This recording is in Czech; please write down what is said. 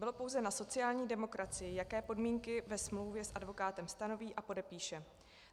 Bylo pouze na sociální demokracii, jaké podmínky ve smlouvě s advokátem stanoví a podepíše.